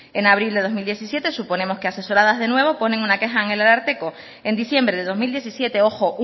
en abril de dos mil diecisiete suponemos que asesoradas de nuevo ponen una queja en el ararteko en diciembre de dos mil diecisiete ojo